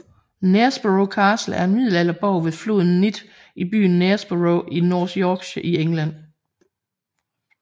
Knaresborough Castle er en middelalderborg ved floden Nidd i byen Knaresborough i North Yorkshire i England